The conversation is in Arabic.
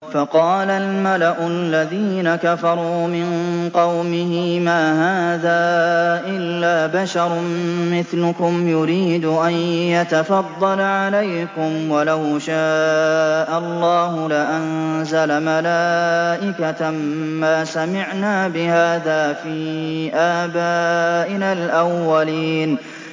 فَقَالَ الْمَلَأُ الَّذِينَ كَفَرُوا مِن قَوْمِهِ مَا هَٰذَا إِلَّا بَشَرٌ مِّثْلُكُمْ يُرِيدُ أَن يَتَفَضَّلَ عَلَيْكُمْ وَلَوْ شَاءَ اللَّهُ لَأَنزَلَ مَلَائِكَةً مَّا سَمِعْنَا بِهَٰذَا فِي آبَائِنَا الْأَوَّلِينَ